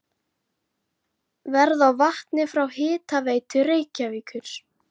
Verð á vatni frá Hitaveitu Reykjavíkur